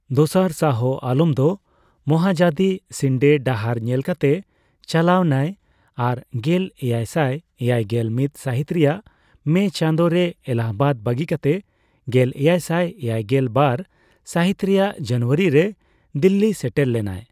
ᱫᱚᱥᱟᱨ ᱥᱟᱦᱚ ᱟᱞᱚᱢ ᱫᱚ ᱢᱚᱦᱟᱫᱟᱡᱤ ᱥᱤᱱᱰᱮ ᱰᱟᱦᱟᱨ ᱧᱮᱞᱠᱟᱛᱮ ᱪᱟᱞᱟᱣ ᱱᱟᱭ ᱟᱨ ᱜᱮᱞ ᱮᱭᱟᱭᱥᱟᱭ ᱮᱭᱟᱭᱜᱮᱞ ᱢᱤᱛ ᱥᱟᱹᱦᱤᱛ ᱨᱮᱭᱟᱜ ᱢᱮ ᱪᱟᱸᱫᱳᱨᱮ ᱮᱞᱟᱦᱟᱵᱟᱫ ᱵᱟᱜᱤ ᱠᱟᱛᱮ ᱜᱮᱞ ᱮᱭᱟᱭᱥᱟᱭ ᱮᱭᱟᱭᱜᱮᱞ ᱵᱟᱨ ᱥᱟᱹᱦᱤᱛ ᱨᱮᱭᱟᱜ ᱡᱟᱱᱩᱣᱟᱨᱤ ᱨᱮ ᱫᱤᱞᱞᱤᱭ ᱥᱮᱴᱮᱨ ᱞᱮᱱᱟᱭ ᱾